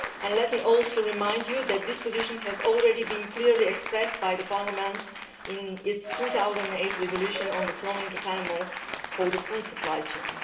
Let me also remind you that this position has already been clearly expressed by Parliament in its 2008 resolution on the cloning of animals for the food supply chain.